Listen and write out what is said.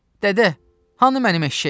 Dədə, hanı mənim eşşəyim?